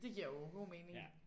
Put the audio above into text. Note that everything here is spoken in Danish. Det giver jo god mening